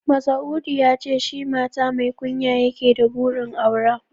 Masa'udu ya ce shi mata mai kunya yake da burin aura